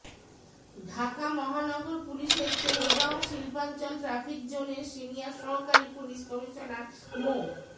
ঢাকা মহানগর পুলিশের তেজগাঁও শিল্পাঞ্চল ট্রাফিক জোনের সিনিয়র সহকারী পুলিশ কমিশনার মো